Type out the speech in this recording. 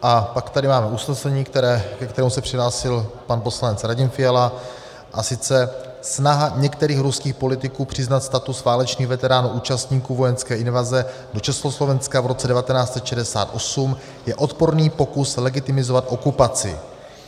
A pak tady máme usnesení, ke kterému se přihlásil pan poslanec Radim Fiala, a sice: "Snaha některých ruských politiků přiznat status válečných veteránů účastníků vojenské invaze do Československa v roce 1968 je odporný pokus legitimizovat okupaci.